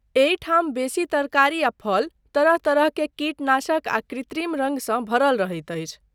एहिठाम बेसी तरकारी आ फल तरह तरहकेँ कीटनाशक आ कृत्रिम रङ्ग सँ भरल रहैत अछि।